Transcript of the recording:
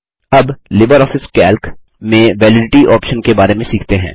अब LibreOffice Calc में validity option के बारे में सीखते हैं